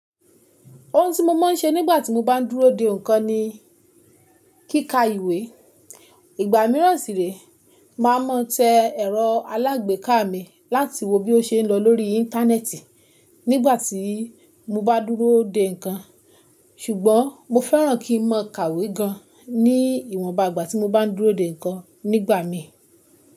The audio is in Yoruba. Ohun tí mo máa ń ṣe nígbà tí mo bá dúró de ǹkan ni kíká ìwé. Ìgbà mìíràn sì ré, màá máa tẹ ẹ̀rọ alágbèéká mi láti wo bí ó ṣe ń lọ lórí Íńtánẹ́ẹ̀tì nígbà tí mo bá dúró de ǹkan. Ṣùgbọ́n mo fẹ́ràn kí n mọ̀ọ́ kàwé gan ní ìwọnba ìgbà tí mo bá dúró de ǹkan nígbà mí.